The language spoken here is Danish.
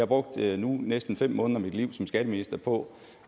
brugt næsten fem måneder af mit liv som skatteminister på